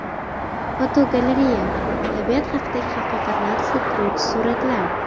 Fotogalereya: Tabiat haqidagi haqiqatni aks ettiruvchi suratlar.